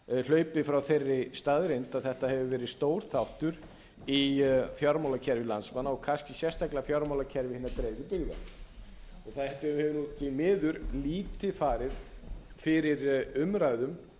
hlaupið frá þeirri staðreynd að þetta hefur verið stór þáttur í fjármálakerfi landsmanna og kannski sérstaklega fjármálakerfi hinna dreifðu byggða það hefur því miður lítið farið fyrir umræðum